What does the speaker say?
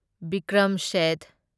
Vikram Seth